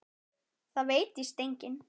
Það veit víst enginn.